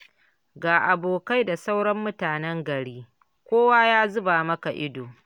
Ga abokai da sauran mutanen gari, kowa ya zuba maka ido.